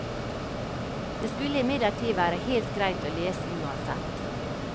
Det skulle imidlertid være helt greit å lese uansett.